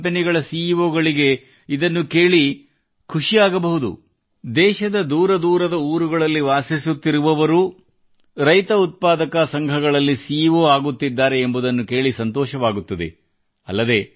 ದೊಡ್ಡ ದೊಡ್ಡ ಕಂಪನಿಗಳ ಸಿಈಓ ಗಳಿಗೆ ಇದನ್ನು ಕೇಳಿ ಖುಷಿಯಾಗಬಹುದು ಇನ್ನು ಮುಂದೆ ದೇಶದ ದೂರದೂರುಗಳಲ್ಲಿ ವಾಸಿಸುವ ಕೆಲಸ ಮಾಡುವ ರೈತ ಸಂಘಗಳಲ್ಲಿಯೂ ಕೂಡಾ ಸಿಈಓ ಆಗುತ್ತಿದ್ದಾರೆ ಎಂಬುದನ್ನು ಕೇಳಿ ಸಂತೋಷವಾಗುತ್ತದೆ